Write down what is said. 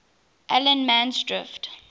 allemansdrift